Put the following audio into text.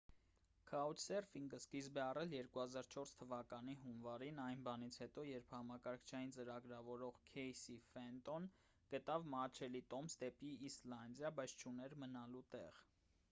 քաուչսերֆինգը սկիզբ է առել 2004 թվականի հունվարին այն բանից հետո երբ համակարգչային ծրագրավարող քեյսի ֆենտոն գտավ մատչելի տոմս դեպի իսլանդիա բայց չուներ մնալու տեղ